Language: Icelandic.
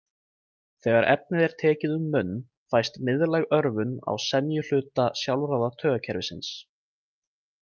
Þegar efnið er tekið um munn fæst miðlæg örvun á semjuhluta sjálfráða taugakerfisins.